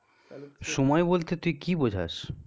সময় বলতে তুই কি বুঝাস?